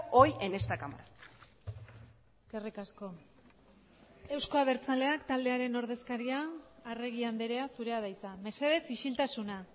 hoy en esta cámara eskerrik asko euzko abertzaleak taldearen ordezkaria arregi andrea zurea da hitza mesedez isiltasuna